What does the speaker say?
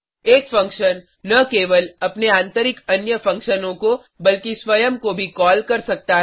एक फंक्शन न केवल अपने आतंरिक अन्य फंक्शनों को बल्कि स्वयं को भी कॉल कर सकता है